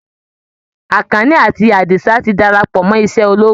Àkànní àti Àdìsá ti darapọ̀ mọ́ iṣẹ́ ológun